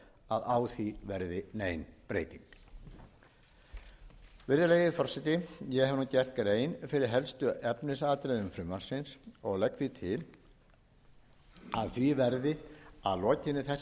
að á því verði nein breyting virðulegi forseti ég hef nú gert grein fyrir helstu efnisatriðum frumvarpsins og legg því til að því verði að lokinni þessari